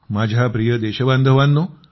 माझ्या प्रिय देशबांधवांनो